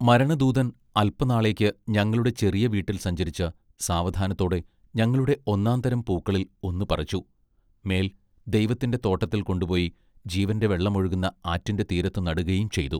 മരണ ദൂതൻ അല്പനാളേക്ക് ഞങ്ങളുടെ ചെറിയ വീട്ടിൽ സഞ്ചരിച്ച് സാവധാനത്തോടെ ഞങ്ങളുടെ ഒന്നാം തരം പൂക്കളിൽ ഒന്നു പറിച്ചു, മേൽ ദൈവത്തിന്റെ തോട്ടത്തിൽ കൊണ്ടുപൊയി ജീവന്റെ വെള്ളം ഒഴുകുന്ന ആറ്റിന്റെ തീരത്തുനടുകയും ചെയ്തു.